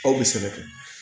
Aw bɛ sɛbɛn